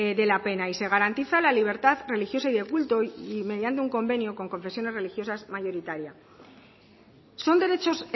de la pena y se garantiza la libertad religiosa y de culto y mediando un convenio con confesiones religiosas mayoritarias son derechos